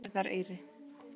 Dagverðareyri